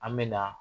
An me na